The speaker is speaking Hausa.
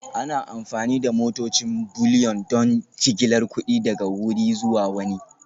Ana amfani da motocin Bullion don jigilar kuɗi daga wuri zuwa wani